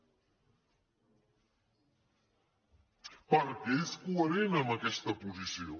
perquè és coherent amb aquesta posició